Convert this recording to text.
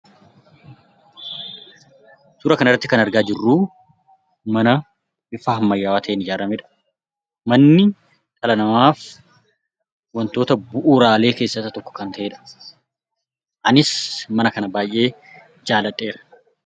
Suura kana irratti kan argaa jirru mana bifa ammayyaa ta'een ijaaramedha. Manni dhala namaaf wantoota bu'uraalee keessaa isa tokko kan ta'edha. Anis mana kana baay'ee jaaladheera.